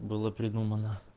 было придумано